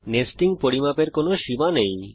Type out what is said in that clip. nesting পরিমাপের কোনো সীমা নেই